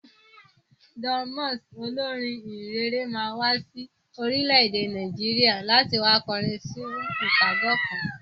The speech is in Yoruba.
Don Moen, Olórin ìhìnrere, máa wá sí orílẹ̀-èdè Nàìjíríà, láti wá kọrin ni ìpàgọ́ kan.